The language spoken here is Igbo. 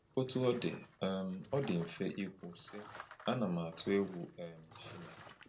Otú ọ dị, um ọ dị mfe ikwu, sị, “Ana m atụ egwu um Chineke.”